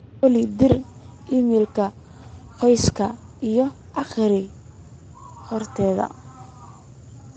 olly dir iimayl qoyska iyo aqri horta